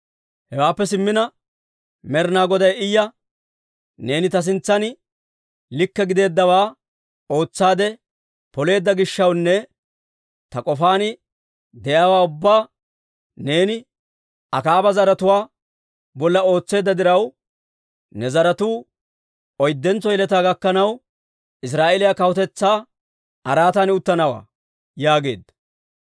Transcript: Hewaappe simmina, Med'ina Goday Iya, «Neeni ta sintsan likke gideeddawaa ootsaade poleedda gishshawunne ta k'ofaan de'iyaawaa ubbaa neeni Akaaba zaratuwaa bolla ootseedda diraw, ne zaratuu oyddentso yeletaa gakkanaw, Israa'eeliyaa kawutetsaa araatan uttanawantta» yaageedda.